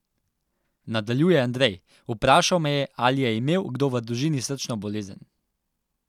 Nadaljuje Andrej: "Vprašal me je, ali je imel kdo v družini srčno bolezen.